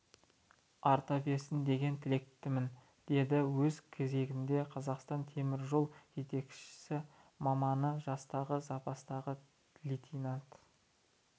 арта берсін деген тілектемін деді өз кезегінде қазақстан темір жолы жетекші маманы жастағы запастағы лейтенант